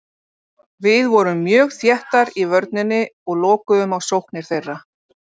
Við vorum mjög þéttar í vörninni og lokuðum á sóknir þeirra.